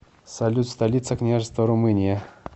салют столица княжество румыния